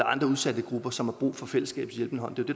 andre udsatte grupper som har brug for fællesskabets hjælpende hånd